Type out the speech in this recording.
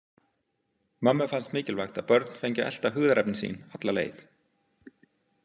Mömmu fannst mikilvægt að börn fengju að elta hugðarefni sín alla leið.